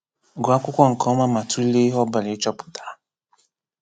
Gụọ akwụkwọ nke ọma ma tụlee ihe ọbụla ị chọpụtara.